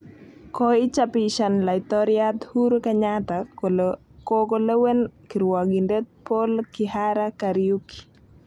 Koichapishan Laitoryat Uhuru Kenyatta kole koko lewen kirwogindet Poul Kihara Kariuki